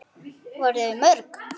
Voru þau mörg?